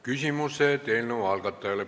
Küsimused eelnõu algatajale.